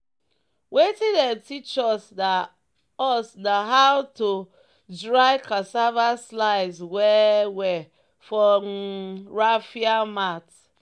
"wetin dem teach us na us na how to dry cassava slice well-well for um raffia mat."